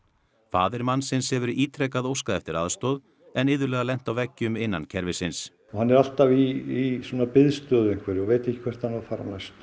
faðir mannsins hefur ítrekað óskað eftir aðstoð en iðulega lent á veggjum innan kerfisins hann er alltaf í biðstöðu og veit ekki hvert hann á að fara næst